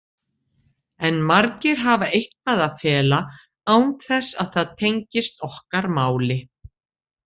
En margir hafa eitthvað að fela án þess að það tengist okkar máli.